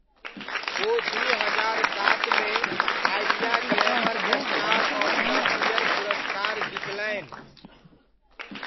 ओ दू हजार सातमे Idea glamour star of the year पुरस्कार जितलनि।